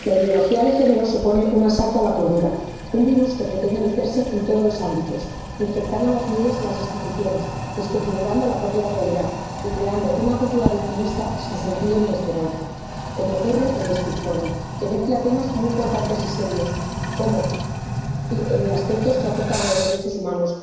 Señor presidente, la ideología de género supone un asalto a la cordura, un virus que pretende meterse en todos los ámbitos, infectando las leyes y las instituciones, desconfigurando la propia realidad y creando una cultura victimista sin sentido ni esperanza, como ocurre en este informe, que mezcla temas muy importantes y serios, como aspectos que afectan a los derechos humanos